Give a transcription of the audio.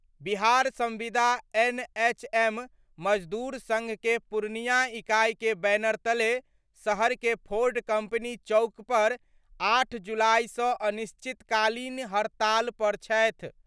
बिहार संविदा एनएचएम मजदूर संघ के पूर्णिया इकाई के बैनर तले शहर के फोर्ड कंपनी चौक पर 8 जुलाई सं अनिश्चितकालीन हड़ताल पर छथि।